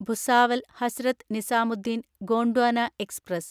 Bhusawal Hazrat Nizamuddin Gondwana express